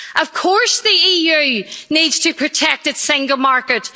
Of course the EU needs to protect its single market.